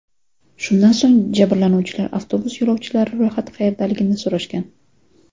Shundan so‘ng jabrlanuvchilar avtobus yo‘lovchilari ro‘yxati qayerdaligini so‘rashgan.